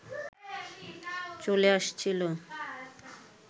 চলে আসছিল